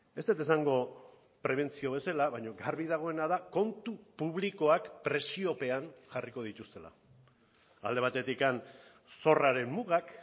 ez dut esango prebentzio bezala baina garbi dagoena da kontu publikoak presiopean jarriko dituztela alde batetik zorraren mugak